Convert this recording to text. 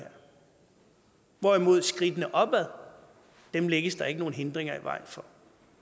hvorimod skridtene opad lægges der ikke nogen hindringer i vejen for